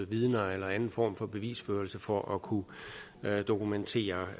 vidner eller anden form for bevisførelse for at kunne dokumentere